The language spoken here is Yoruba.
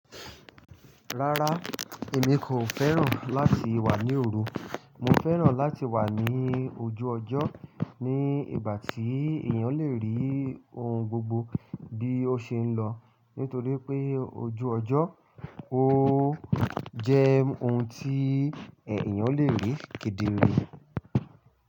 Rárá, èmi kò fẹ́ràn láti wà ní òru. Mo fẹ́ràn láti wà ní ojú ọjọ́ ní ìgbà tí èèyàn le rí ohun gbogbo bí ó ṣe ń lọ. Nítorí pé ojú ọjọ́, ó jẹ́ ohun tí èèyàn le rí kedere.